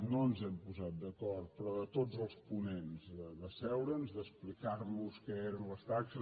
no ens hem posat d’acord però de tots els ponents d’asseure’ns d’explicar nos què eren les taxes